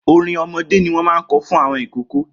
Orin ọmọdé ni wọ́n máa ń kọ fún àwọn ọmọ ìkóókó